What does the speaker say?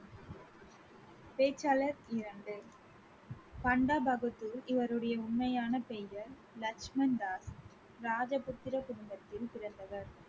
பேச்சாளர் இரண்டு. பண்டா பகதூர் இவருடைய உண்மையான பெயர் லக்ஷ்மண் தாஸ் ராஜபுத்திர குடும்பத்தில் பிறந்தவர்.